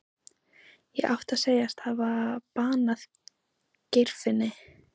Ég átti að segjast hafa banað Geirfinni.